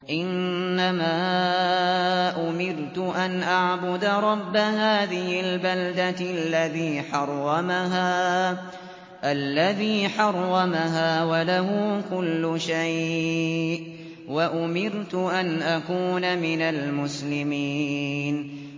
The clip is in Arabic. إِنَّمَا أُمِرْتُ أَنْ أَعْبُدَ رَبَّ هَٰذِهِ الْبَلْدَةِ الَّذِي حَرَّمَهَا وَلَهُ كُلُّ شَيْءٍ ۖ وَأُمِرْتُ أَنْ أَكُونَ مِنَ الْمُسْلِمِينَ